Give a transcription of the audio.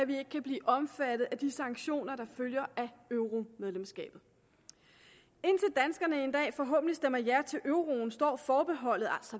vi ikke kan blive omfattet af de sanktioner der følger af euromedlemskabet indtil danskerne en dag forhåbentlig stemmer ja til euroen står forbeholdet